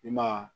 I ma ye